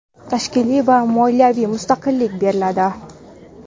tashkiliy va moliyaviy mustaqillik beriladi.